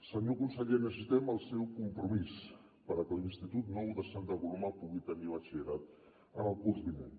senyor conseller necessitem el seu compromís perquè l’institut nou de santa coloma pugui tenir batxillerat en el curs vinent